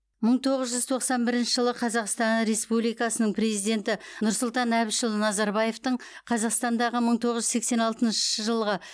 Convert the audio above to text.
мың тоғыз жүз тоқсан бірінші жылы қазақстан республикасының президенті нұрсұлтан әбішұлы назарбаевтың қазақстандағы мың тоғыз жүз сексен алтыншы жылғы